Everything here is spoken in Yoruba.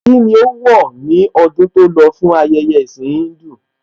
Kíni ó wọ̀ ní ọdún tó lọ fún ayẹyẹ ẹ̀ẹ̀sìn Híńdù?